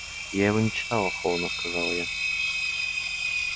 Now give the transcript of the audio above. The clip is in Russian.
я его не читала холодно сказала я